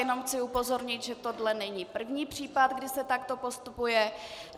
Jenom chci upozornit, že tohle není první případ, kdy se takto postupuje.